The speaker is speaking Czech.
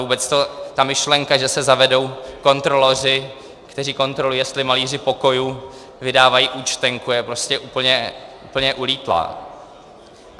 Vůbec ta myšlenka, že se zavedou kontroloři, kteří kontrolují, jestli malíři pokojů vydávají účtenky, je prostě úplně ulítlá.